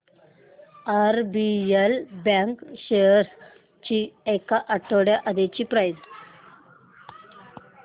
RBL bank shares ची एक आठवड्या आधीची प्राइस